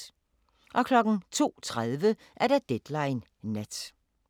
02:30: Deadline Nat